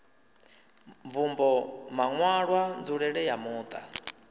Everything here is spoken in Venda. mvumbo maṋwalwa nzulele ya muṱa